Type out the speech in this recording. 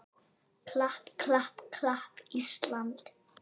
klapp, klapp, klapp, Ísland!